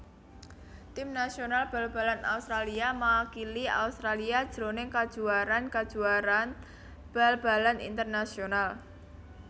Tim nasional bal balan Australia makili Australia jroning kajuwaraan kajuwaraan bal balan internasional